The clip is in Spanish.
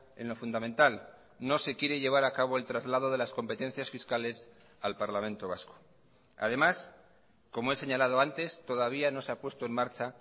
en lo fundamental no se quiere llevar acabo el traslado de las competencias fiscales al parlamento vasco además como he señalado antes todavía no se ha puesto en marcha